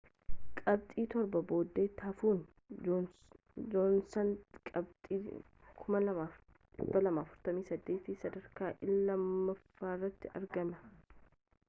qabxii torba boodatti hafuun joonsan qabxii 2,243n sadarkaa lammaffaarratti argama